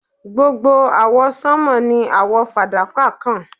Gbogbo awọsanma ni awọ fadaka kan